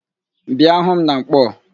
Bịa hu m na Nkpọọ!